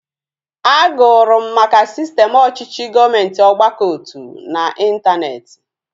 A gụrụ m maka sistem ọchịchị gọọmenti ọgbakọotu na intaneeti